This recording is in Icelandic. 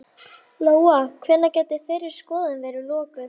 Lóa: Hvenær gæti þeirri skoðun verið lokið?